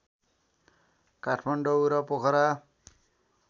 काठमाडौँ र पोखरा